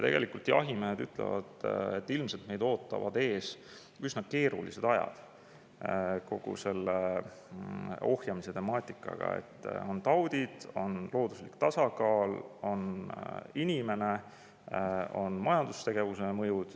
Jahimehed ütlevad, et ilmselt neid ootavad ees üsna keerulised ajad kogu selle ohjamise puhul: on taudid, on looduslik tasakaal, on inimene, on majandustegevuse mõjud.